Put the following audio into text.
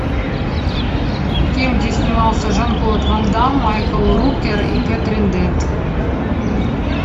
фильм где снимался жан клод ван дамм майкл рукер и кэтрин дент